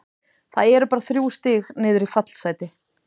Það eru bara þrjú stig niður í fallsæti.